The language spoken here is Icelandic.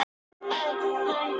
Þá sá hann Don